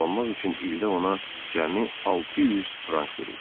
Dolanmaq üçün ildə ona cəmi 600 frank verir.